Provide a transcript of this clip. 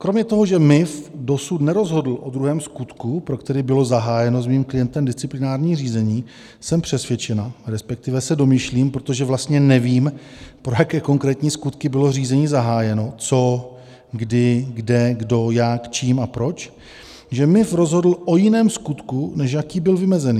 Kromě toho, že MIV dosud nerozhodl o druhém skutku, pro který bylo zahájeno s mým klientem disciplinární řízení, jsem přesvědčena, respektive se domýšlím, protože vlastně nevím, pro jaké konkrétní skutky bylo řízení zahájeno, co, kdy, kde, kdo, jak, čím a proč, že MIV rozhodl o jiném skutku, než jaký byl vymezený.